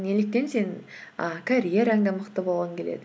неліктен сен і карьераңда мықты болғың келеді